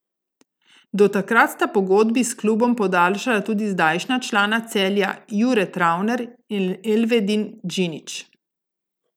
Do takrat sta pogodbi s klubom podaljšala tudi zdajšnja člana Celja Jure Travner in Elvedin Džinić.